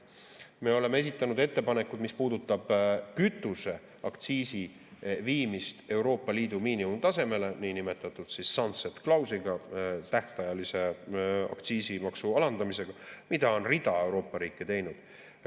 Me oleme esitanud ettepanekud, mis puudutavad kütuseaktsiisi viimist Euroopa Liidu miinimumtasemele niinimetatud sunset-klausliga, tähtajalise aktsiisimaksu alandamisega, mida on rida Euroopa riike teinud.